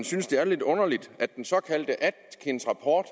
synes det er lidt underligt at den såkaldte atkinsrapport